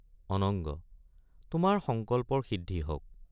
অনঙ্গ—তোমাৰ সংকল্পৰ সিদ্ধি হওক।